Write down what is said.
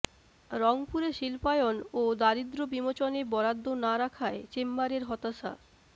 রংপুরে শিল্পায়ন ও দারিদ্র্য বিমোচনে বরাদ্দ না রাখায় চেম্বারের হতাশা